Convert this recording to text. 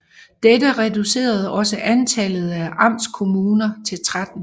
Dette reducerede også antallet af amtskommuner til 13